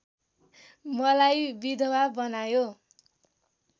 मलाई विधवा बनायो